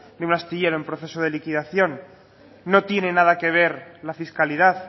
de un astillero en proceso de liquidación no tiene nada que ver la fiscalidad